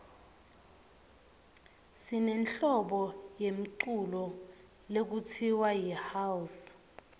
sinehlobo yemculo lekutsiwa yihouse